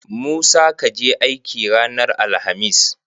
Musa kaje aiki ranar alahamis?